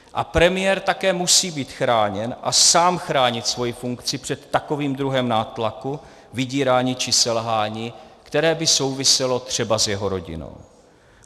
A premiér také musí být chráněn a sám chránit svoji funkci před takovým druhem nátlaku, vydírání či selhání, které by souviselo třeba s jeho rodinou.